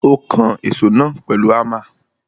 Ó kan èsó náà pèlu Hámà.